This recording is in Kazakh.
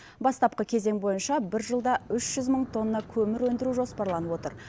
бастапқы кезең бойынша бір жылда үш жүз мың тонна көмір өндіру жоспарланып отыр